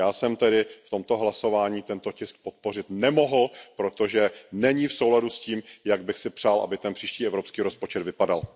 Já jsem tedy v tomto hlasování tento tisk podpořit nemohl, protože není v souladu s tím, jak bych si přál, aby ten příští evropský rozpočet vypadal.